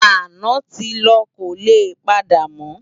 Àná ti lò kólé pàdámò